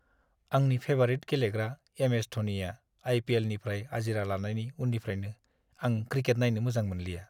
आंनि फेबारिट गेलेग्रा एम.एस. धनीया आइ.पि.एल.निफ्राय आजिरा लानायनि उननिफ्रायनो आं क्रिकेट नायनो मोजां मोनलिया।